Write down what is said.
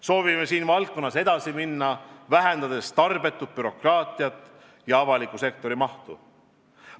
Soovime selles valdkonnas edasi minna, vähendades tarbetut bürokraatiat ja avaliku sektori mahtu.